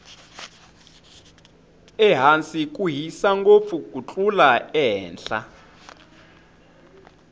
ehansi ku hisa ngopfu ku tlula ehenhla